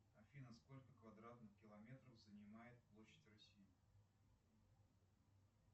афина сколько квадратных километров занимает площадь россии